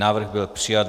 Návrh byl přijat.